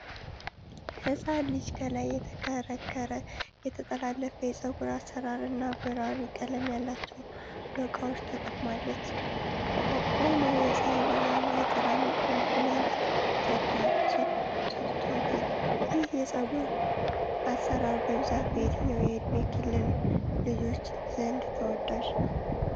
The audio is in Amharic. ሕፃን ልጅ ከላይ የተከረከረ፣ የተጠላለፈ የፀጉር አሰራር እና በራሪ ቀለም ያላቸው ዶቃዎች ተጠቅማለች። ቆሞ የፀሐይ ብርሃን የጥላ መልክ ሰጥቶታል። ይህ የፀጉር አሰራር በብዛት በየትኛው የዕድሜ ክልል ልጆች ዘንድ ተወዳጅ ነው?